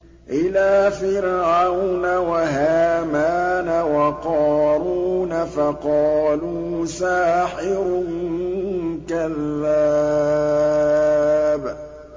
إِلَىٰ فِرْعَوْنَ وَهَامَانَ وَقَارُونَ فَقَالُوا سَاحِرٌ كَذَّابٌ